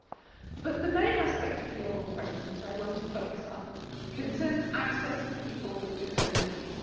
However, the main aspect of the oral question that I want to focus on concerns access for people with disabilities.